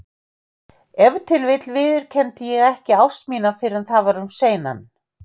Ef til vill viðurkenndi ég ekki ást mína fyrr en það var um seinan.